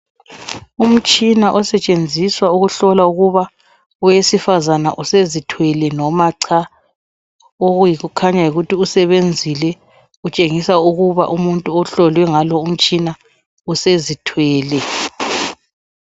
Umtshina osetshenziswa ukuhlola ukuba owesifazane usezithwele noma cha okuyikukhanya usebenzile utshengisa ukuba umuntu ohlolwe ngalo umtshina usezithwele